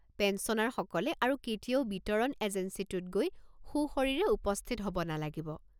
পেঞ্চনাৰসকলে আৰু কেতিয়াও বিতৰণ এজেঞ্চীটোত গৈ সোঁশৰীৰে উপস্থিত হ'ব নালাগিব।